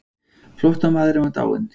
Flóttamaðurinn var dáinn.